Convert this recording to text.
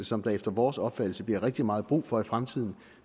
som der efter vores opfattelse bliver rigtig meget brug for i fremtiden